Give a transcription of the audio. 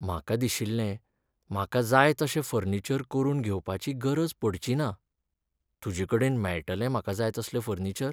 म्हाका दिशिल्लें म्हाका जाय तशें फर्निचर करून घेवपाची गरज पडचिना. तुजेकडेन मेळटलें म्हाका जाय तसलें फर्निचर.